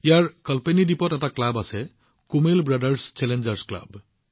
কালপেনি দ্বীপত এটা ক্লাব আছে কুমেল ব্ৰাদাৰ্ছ চেলেঞ্জাৰ্ছ ক্লাব